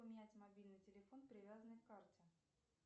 поменять мобильный телефон привязанный к карте